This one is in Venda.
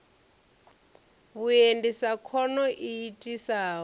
vhuendi sa khono i itisaho